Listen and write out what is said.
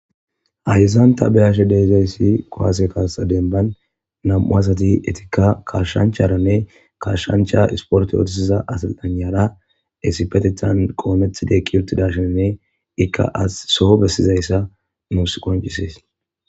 Hayzanta beyashe deizayssi qowase kaasa denban nam7u asati etikka kashshancharanne kashshancha isporte ootisiza asilanara esipetethan qooneth deekki ottidashinne ikka as soho bessizayssa nuus qoncisees.